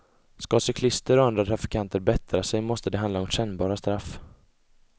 Skall cyklister och andra trafikanter bättra sig måste det handla om kännbara straff.